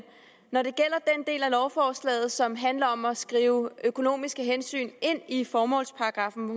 når det gælder del af lovforslaget som handler om at skrive økonomiske hensyn ind i formålsparagraffen